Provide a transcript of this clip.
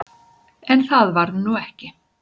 En það varð nú ekki.